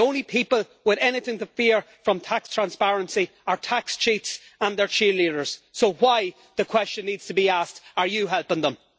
The only people with anything to fear from tax transparency are tax cheats and their cheerleaders, so why the question needs to be asked are you helping them?